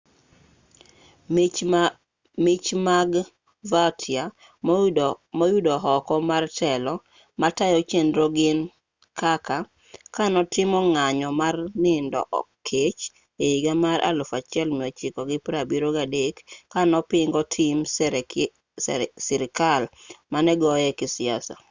mich mag vautier moyudo oko mar telo matayo chenro gin kaka kanotimo ng'anyo mar nindo kech ehiga mar 1973 kanopingo tim sirkal manegoye kisiasa